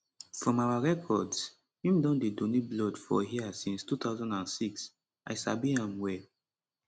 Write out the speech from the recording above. from our records im don dey donate blood for hia since 2006 i sabi am well